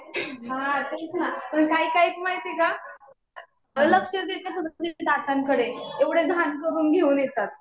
हा तेच ना. पण काही काही माहितीये का, लक्षच देतं नाहीत दातांकडे. एवढे घाण करून घेऊन येतात.